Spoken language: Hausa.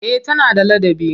Eh tana da ladabi.